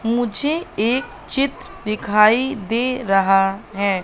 मुझे एक चित्र दिखाई दे रहा है।